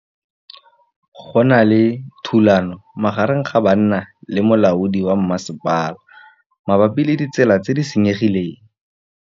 Go na le thulanô magareng ga banna le molaodi wa masepala mabapi le ditsela tse di senyegileng.